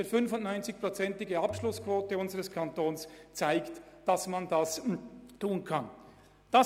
Die Abschlussquote von 95 Prozent in unserem Kanton zeigt, dass dies möglich ist.